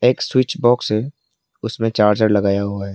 Switch box है उसमें charger लगाया हुआ है।